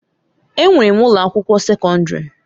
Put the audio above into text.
Enwere m ụlọ akwụkwọ sekọndrị.